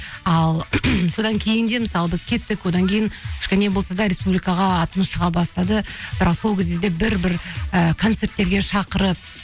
ал содан кейін де мысалы біз кеттік одан кейін кішкене болса да республикаға атымыз шыға бастады бірақ сол кезде де бір бір і концерттерге шақырып